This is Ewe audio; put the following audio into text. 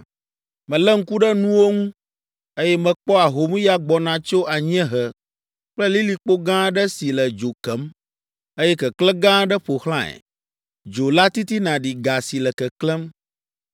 Melé ŋku ɖe nuwo ŋu, eye mekpɔ ahomya gbɔna tso anyiehe kple lilikpo gã aɖe si le dzo kem, eye keklẽ gã aɖe ƒo xlãe. Dzo la titina ɖi ga si le keklẽm,